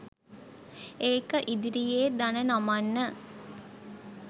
ඒක ඉදිරියේ දණ නමන්න